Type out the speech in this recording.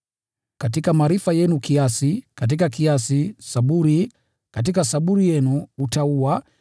katika maarifa, kiasi; katika kiasi, saburi; katika saburi, utauwa;